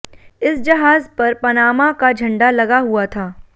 इस जहाज़ पर पनामा का झंडा लगा हुआ था